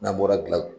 N'an bɔra gila